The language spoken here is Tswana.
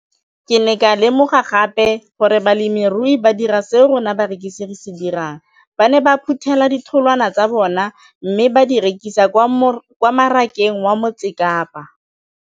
Ke ne ka lemoga gape gore balemirui ba dira seo rona barekisi re se dirang - ba ne ba phuthela ditholwana tsa bona mme ba di rekisa kwa marakeng wa Motsekapa.